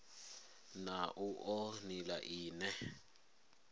na u oa nila ine